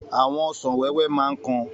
Àwọn ọsàn wẹ́wẹ́ máa ń kan.